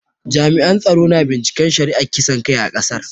Jami'an tsaro na binciken shari'ar kisan kai a kasar.